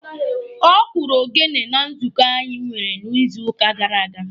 Ọ kụrụ ogene na nzukọ anyị nwere n'izuuka gara aga.